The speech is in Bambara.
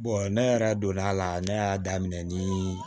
ne yɛrɛ donn'a la ne y'a daminɛ nii